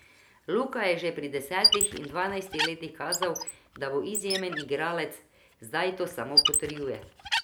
Luka je že pri desetih in dvanajstih letih kazal, da bo izjemen igralec, zdaj to samo potrjuje.